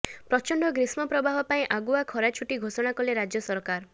ପ୍ରଚଣ୍ଡ ଗ୍ରୀଷ୍ମ ପ୍ରବାହ ପାଇଁ ଆଗୁଆ ଖରା ଛୁଟି ଘୋଷଣା କଲେ ରାଜ୍ୟ ସରକାର